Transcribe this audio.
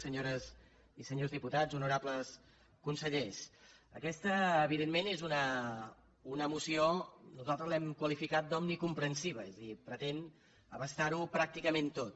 senyores i senyors diputats honorables consellers aquesta evidentment és una moció que nosaltres l’hem qualificada d’omnicomprensiva és a dir pretén abastar ho pràcticament tot